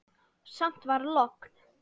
Samt var logn.